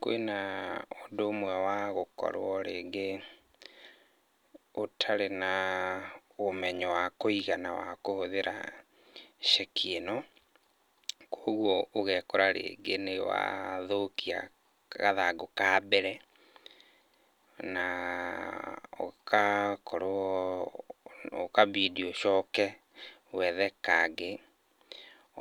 Kwĩna ũndũ ũmwe wa gũkorwo rĩngĩ ũtarĩ na ũmenyo wa kũigana wa kũhũthĩra ceki ĩno. Koguo ũgekora rĩngĩ nĩ wathũkia gathangũ ka mbere na ũgakorwo, ũkabindi ũcoke wethe kangĩ.